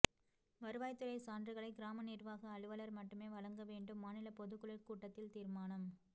வருவாய் துறை சான்றுகளை கிராம நிர்வாக அலுவலர் மட்டுமே வழங்க வேண்டும் மாநில பொதுக்குழு கூட்டத்தில் தீர்மானம்